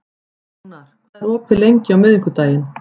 Ónar, hvað er opið lengi á miðvikudaginn?